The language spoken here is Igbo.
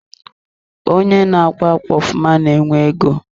Onye n'akwa ákwà ofụma na-enwe ego.